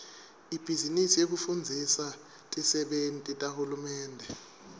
ibhizinisi yekufundzisa tisebenti tahulumende